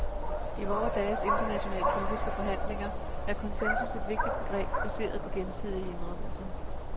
I vore dages internationale politiske forhandlinger er konsensus et vigtigt begreb, baseret på gensidige indrømmelser.